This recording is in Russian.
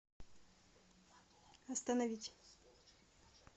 остановить